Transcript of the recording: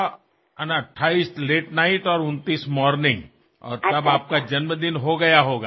মই আহিম ২৮ তাৰিখে ৰাতি আৰু ২৯ তাৰিখে ৰাতিপুৱা পামহি আৰু তেতিয়ালৈ আপোনাৰ জন্মদিন পালন হৈ উঠিব